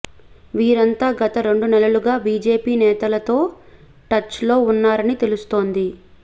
వీరంతా గత రెండు నెలలుగా బీజేపీ నేతలతో టచ్ లో ఉన్నారని తెలుస్తోంది